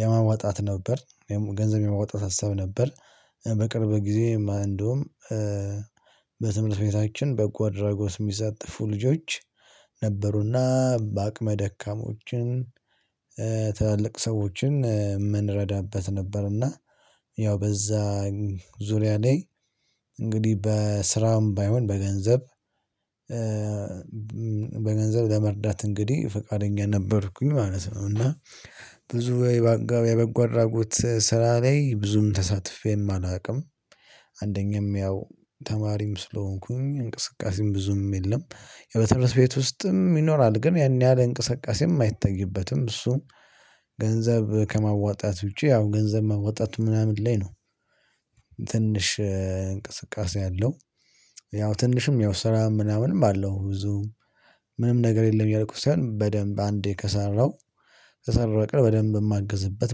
የማዋጣት ነበር ወይም ገንዘብ የማዋጣት ሀሳብ ነበር። በቅርብ ጊዜ እንደውም በተመለስ ቤታችን በጓድ ራጎስ የሚሳተፉ ልጆች ነበሩና በአቅመ ደካሞችን ትልቅ ሰዎችን የምንረዳበት ነበር። እና ያው በዛ ዙሪያ ላይ እንግዲህ በስራም ባይሆን በገንዘብ በገንዘብ ለመርዳት እንግዲህ ፈቃደኛ ነበርኩኝ ማለት ነው። እና ብዙ ወይ በአጋብ የበጎ አድራጎት ስራ ላይ ብዙም ተሳትፌም አላውቅም። አንደኛም ያው ተማሪም ስለሆንኩኝ እንቅስቃሴም ብዙም የለም በትምህርት ቤት ውስጥም ይኖራል ግን ያን ያህል እንቅስቃሴም አይታይበትም። እሱም ገንዘብ ከማዋጣት ውጪ ያው ገንዘብ ማዋጣት ምናምን ላይ ነው። ትንሽ እንቅስቃሴ ያለው ያው ትንሽም ያው ስራም ምናምንም አለው ብዙም ምንም ነገር የለም። እያልኩት ሳይሆን በደንብ አንዴ ከሰራሁ ከሰራሁ በቀር በደንብ የማገዝበት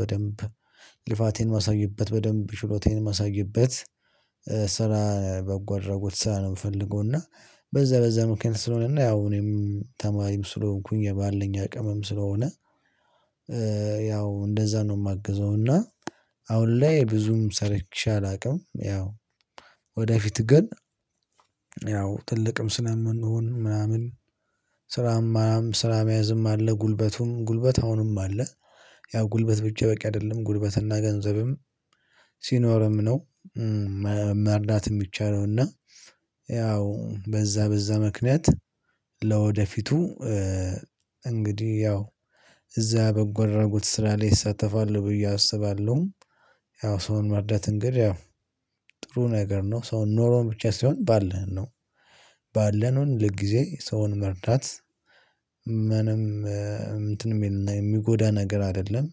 በደንብ ልፋቴን ማሳየበት በደንብ ችሎታዬን ማሳይበት ስራ በጎ አድርጎት ስራ ነው የምፈልገው። እና በዛ በዛ ምክንያት ስለሆነ እና ያው እኔም ተማሪም ስለሆንኩኝ ባለኝ አቅምም ስለሆነ ያው እንደዛ ነው የማግዘው። እና አሁን ላይ ብዙም ሰርቼ አላውቅም ያው። ወደፊት ግን ያው ትልቅም ስለምንሆን ምናምን ስራም ስራም ያዝም አለ ጉልበቱን ጉልበት አሁንም አለ። ያው ጉልበት ብቻ በቂ አይደለም ጉልበትና ገንዘብም ሲኖርም ነው መርዳት የሚቻለው። እና ያው በዛ በዛ ምክንያት ለወደፊቱ እንግዲህ ያው እዛ በጎ አድራጎት ስራ ላይ እሳተፋል ብዬ አስባለሁ። ያው ሰውን መርዳት እንግዲህ ያው ጥሩ ነገር ነው። ሰውን ኖሮ ብቻ ሲሆን ባለን ነው ባለነው ልክ ጊዜ ሰውን መርዳት ምንም እንትን የሚልና የሚጎዳ ነገር አይደለም።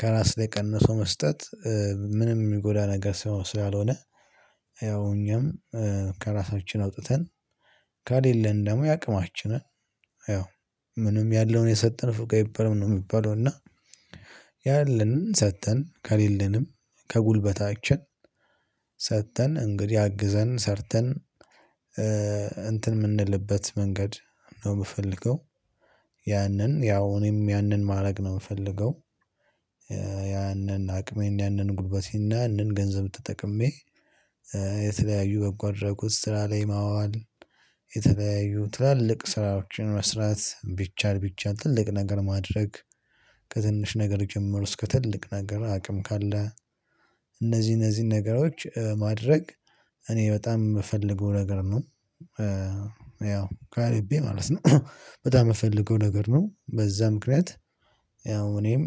ከራስ ላይ ቀንሶ መስጠት ምንም የሚጎዳ ነገር ስላልሆነ። ያው እኛም ከራሳችን አውጥተን ከሌለን ደግሞ የአቅማችንን ያው ምንም ያለውን የሰጠን ንፉግ አይባልም የሚባለው እና ያለንን ሰጥተን ከሌለንም ከጉልበታችን ሰጥተን እንግዲህ አግዘን ሰርተን እንትን የምንልበት መንገድ ነው የምፈልገው። ያንን ያው እኔም ያንን ማድረግ ነው የምፈልገው። ያንን አቅሜን ያንን ጉልበቴና ያንን ገንዘብ ተጠቅሜ የተለያዩ በጓአደራጓት ስራ ላይ ማዋል። የተለያዩ ትላልቅ ስራዎችን መስራት ቢቻል ቢቻል ትልቅ ነገር ማድረግ። ከትንሽ ነገር ጀምሮ እስከ ትልቅ ነገር አቅም ካለ። እነዚህ እነዚህን ነገሮች ማድረግ እኔ በጣም የምፈልገው ነገር ነው። ያው ካሪቤ ማለት ነው በጣም የምፈልገው ነገር ነው። በዛ ምክንያት ያው እኔም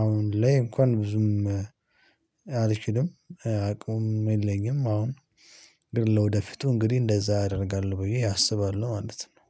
አሁን ላይ እንኳን ብዙም አልችልም አቅሙን የለኝም። አሁን ግን ለወደፊቱ እንግዲህ እንደዛ አደርጋለሁ ብዬ አስባለሁ ማለት ነው